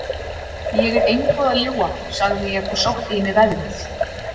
Ég er engu að ljúga, sagði ég og sótti í mig veðrið.